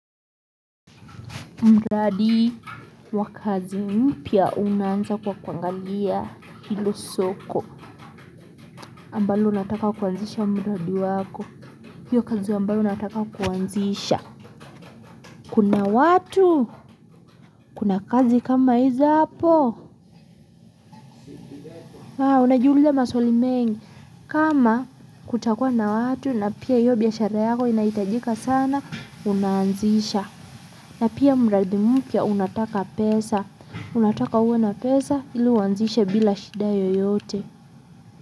Mradi wa kazi mpya unaanza kwa kuangalia hilo soko ambalo unataka kuanzisha mradi wako. Hio kazi ambayo unataka kuanzisha. Kuna watu. Kuna kazi kama hizo hapo. Haa unajiuliza maswali mengi kama kutakuwa na watu na pia hiyo biashara yako inahitajika sana unaanzisha. Na pia mradi mpya unataka pesa. Unataka uwe na pesa ili uanzishe bila shida yoyote.